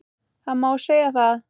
Það má segja það.